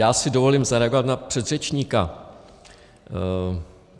Já si dovolím zareagovat na předřečníka.